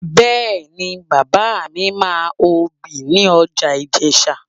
Bẹ́ẹ̀ni, bàbá mi máa obì ní ọjà Ìjẹ̀sà